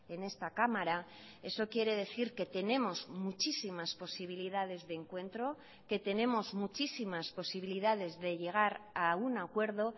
en esta cámara eso quiere decir que tenemos muchísimas posibilidades de encuentro que tenemos muchísimas posibilidades de llegar a un acuerdo